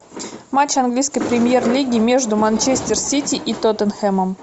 матч английской премьер лиги между манчестер сити и тоттенхэмом